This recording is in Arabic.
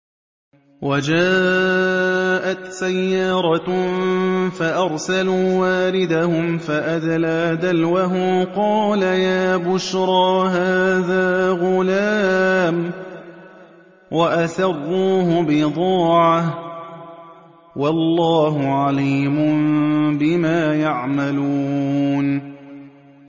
وَجَاءَتْ سَيَّارَةٌ فَأَرْسَلُوا وَارِدَهُمْ فَأَدْلَىٰ دَلْوَهُ ۖ قَالَ يَا بُشْرَىٰ هَٰذَا غُلَامٌ ۚ وَأَسَرُّوهُ بِضَاعَةً ۚ وَاللَّهُ عَلِيمٌ بِمَا يَعْمَلُونَ